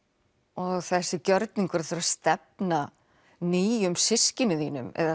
og þessi gjörningur að þurfa að stefna nýjum systkinum þínum eða